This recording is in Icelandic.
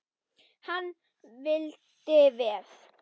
Hann vildi vel.